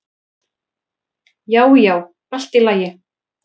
Já, já, allt í lagi